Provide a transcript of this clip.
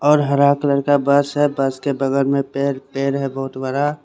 और हरा कलर का बस है बस के बगल में पेर है बहोत बड़ा--